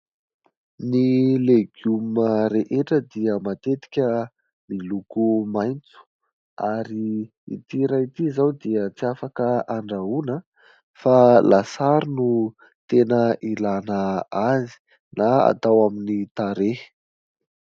Ny legioma rehetra dia matetika miloko maitso. Ary ity iray ity izao dia tsy afaka andrahoina fa lasary no tena ilana azy na atao amin'ny tarehy.